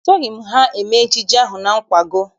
Esoghị m ha eme ejije ahụ na nkwago.